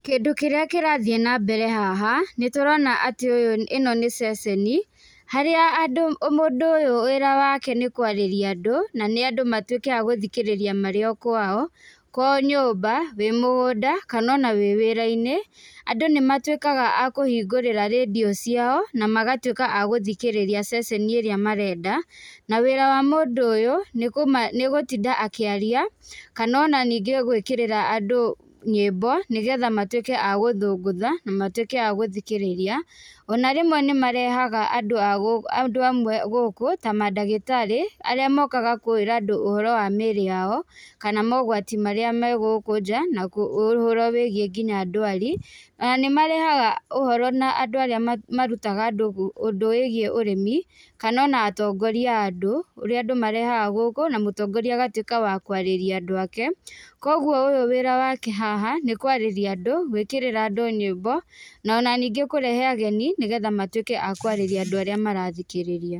Kĩndũ kĩrĩa kĩrathiĩ nambere haha, nĩtũrona atĩ ũyũ, ĩno nĩ ceceni, harĩa andũ, mũndũ ũyũ wĩra wake nĩ kwarĩria andũ, harĩa andũ nĩ andũ matwĩke a gũthikĩrĩria marĩ o kwao, kwao nyũmba, wĩ mũgũnda, kanona wĩ wĩra-inĩ, andũ nĩmatwĩkaga a kũhingũrĩra rĩndiũ ciao, na magatwĩka a gũthikĩrĩria ceceni ĩrĩa marenda, na wĩra wa mũndũ ũyũ, nĩgũtinda akĩaria, kanona ningĩ gwĩkírĩra andũ nyĩmbo , nĩgetha matwĩke a gũthũngũtha, na matuĩke a gũthikĩrĩria, ona rĩmwe nimareha amwe andũ amwe gũkũ, ta mandagĩtarĩ, arĩa mokaga kwĩra andũ ũhoro wa mĩrĩ yao, kana mogwati marĩa me gũkũ nja na kũ ũhoro wĩgiĩ nginya ndwari, na nĩmarehaga ũhoro na andũ arĩa ma marutaga andũ ũndũ wĩgiĩ ũrĩmi, kanona atongoria a andũ, ũrĩa andũ marehaga gũkũ, na mũtongoria agatwĩka wa kwarĩria andũ ake, kwoguo ũyũ wĩra wake haha, nĩ kwarĩria andũ, gwĩkĩrĩra andũ nyĩmbo, nona ningĩ kũrehe ageni, nĩgetha matwĩke akũarĩria andũ arĩa marathikĩrĩria.